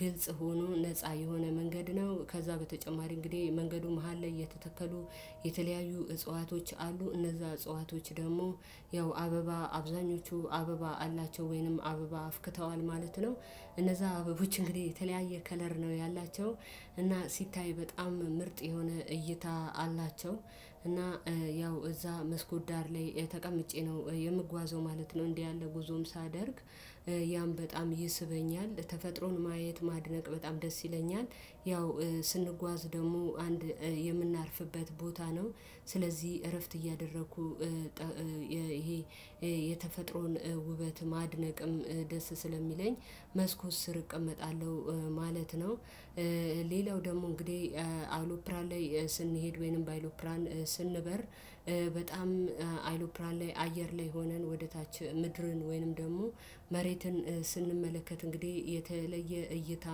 ግልጽ ሆኖ ነፃ የሆነ መንገድ ነው። ከዛ በተጨማሪ እንግዲህ መንገዱ መሃል ላይ የተተከሉ የተለያዩ እጽዋቶች አሉ እነዛ እጽዋቶች ደግሞ ያው አበባ አብዛኞቹ አበባ አላቸው ወይንም አበባ አፍክተዋል ማለት ነው። እነዛ አበቦች እንግዲህ የተለያየ ከለር ነው ያላቸው። እና ሲታይ በጣም ምርጥ የሆነ እይታ አላቸው። እና ያው እዛ መስኮት ዳር ላይ ተቀምጬ ነው የምጓዘው ማለት ነው። እንዲህ ያለ ጉዞም ሳደርግ ያም በጣም ይስበኛል ተፈጥሮን ማየት ማድነቅ በጣም ደስ ይለኛል። ያው ስንጓዝ ደግሞ አንድ የምናርፍበት ቦታ ነው። ስለዚህ እረፍት እያደረኩ ይሄ የተፈጥሮን ውበት ማድነቅም ደስ ስለሚለኝ መስኮት ስር እቀመጣለሁ ማለት ነው። ሌላው ደግሞ እንግዲህ አውሎፕራን ላይ ስንሄድ ወይንም ባይሎፕራን ስንበር በጣም አይሉፕራን ላይ አየር ላይ ሆነን ወደ ታች ምድርን ወይንም ደግሞ መሬትን ስንመለከት እንግዲህ የተለየ እይታ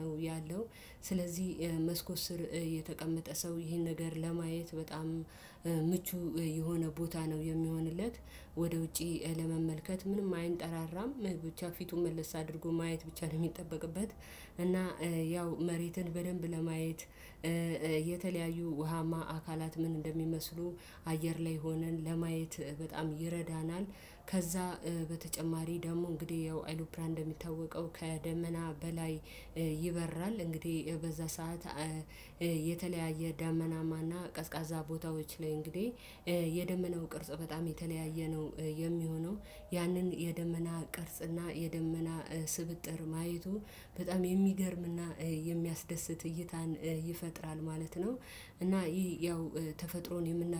ነው ያለው። ስለዚህ መስኮት ስር የተቀመጠ ሰው ይህን ነገር ለማየት በጣም ምቹ የሆነ ቦታ ነው የሚሆንለት። ወደ ውጪ ለመመልከት ምንም አይንጠራራም ብቻ ፊቱን መልስ አድርጎ ማየት ብቻ ነው የሚጠበቅበት። እና ያው መሬትን በደንብ ለማየት የተለያዩ ውሃማ አካላት ምን እንደሚመስሉ አየር ላይ ሆነን ለማየት በጣም ይረዳናል። ከዛ በተጨማሪ ደግሞ እንግዲህ ያው አይሉፕላን እንደሚታወቀው ከደመና በላይ ይበራል። እንግዲህ በዛ ሰዓት የተለያየ ዳመናማ እና ቀዝቃዛ ቦታዎች ላይ እንግዲህ የደመናው ቅርጽ በጣም የተለያየ ነው የሚሆነው። ያንን የደመና ቅርጽና የደመና ስብጥር ማየቱ በጣም የሚገርምና የሚያስደስት እይታን ይፈጥራል ማለት ነው። እና ይሄ ያው ተፈጥሮን የምናደ